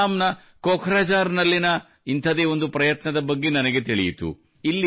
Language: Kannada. ಅಸ್ಸಾಂ ನ ಕೊಖ್ರಜಾರ್ ನಲ್ಲಿಯ ಇಂಥದೇ ಒಂದು ಪ್ರಯತ್ನದ ಬಗ್ಗೆ ನನಗೆ ತಿಳಿಯಿತು